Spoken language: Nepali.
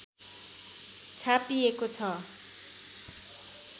छापिएको छ